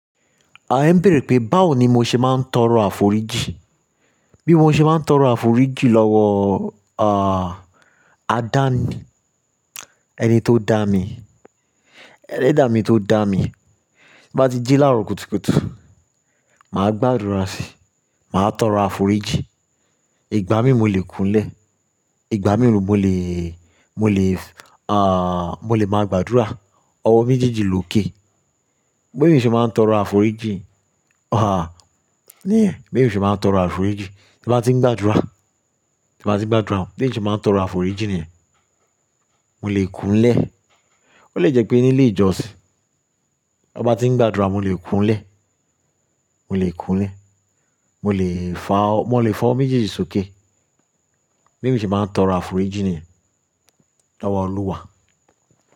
À ń bèèrè pé báwo ni mo ṣe máa ń tọrọ àforíjì? Bí mo ṣe máa ń tọrọ àforíjì lọ́wọ́, à, adá mi, ẹni tó dá mi, ẹlẹ́dàá mi tó dá mi. Bí n bá ti jí láàárọ̀ kùtùkùtù, mà á gbàdúrà síi, mà á tọrọ àforíjì. Ìgbà mìíràn mo lè kúnlẹ̀, ìgbà mìíràn mo lè, mo lè, à, mo lè máa gbàdúrà ọwọ́ méjèèjì lókè. Bí eyan ṣe máa ń tọrọ àforíjì, à, níyen bí eyan se máa ń tọrọ àforíjì. Ti mo bá ti ń gbàdúrà, ti mo bá ti ń gbàdúrà, bí eyan ṣe máa ń tọrọ àforíjì níyen mo lè kúnlẹ̀. Ó lè jẹ́ pé ni ilé ìjọsìn, ti won bá ti ń gbàdúrà, mo lè kúnlẹ̀, mo lè kúnlẹ̀, mo lè fa ọ, mo lè fa ọwọ́ méjèèjì sókè. Bí emi ṣe máa ń tọrọ àforíjì níyen lọ́wọ́ Olúwa.